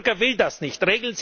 Der Bürger will das nicht.